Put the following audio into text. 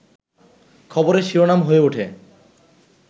খবরের শিরোনাম হয়ে ওঠে